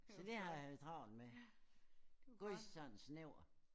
Så det har jeg haft travlt med. Gud sådan snæver